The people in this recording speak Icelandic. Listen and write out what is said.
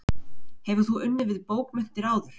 Hefur þú unnið við bókmenntir áður?